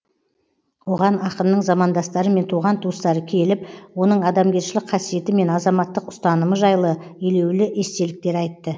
оған ақынның замандастары мен туған туыстары келіп оның адамгершілік қасиеті мен азаматтық ұстанымы жайлы елеулі естеліктер айтты